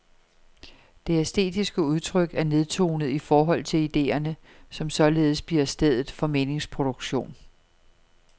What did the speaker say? Det æstetiske udtryk er nedtonet i forhold til idéerne, som således bliver stedet for meningsproduktion.